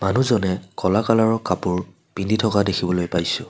মানুহজনে ক'লা কালাৰ ৰ কাপোৰ পিন্ধি থকা দেখিবলৈ পাইছোঁ।